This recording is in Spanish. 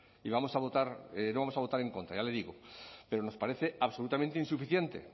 y vamos a votar no vamos a votar en contra ya le digo pero nos parece absolutamente insuficiente